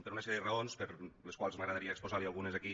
per una sèrie de raons de les quals m’agradaria exposar li’n algunes aquí